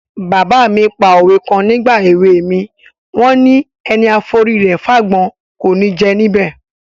Bàbá mi pa òwe kan nígbà èwe mi, wọ́n ni: "Ẹni a forí rẹ̀ fágbọ́n, kò ní jẹ níbẹ̀".